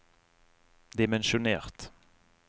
dimensjonert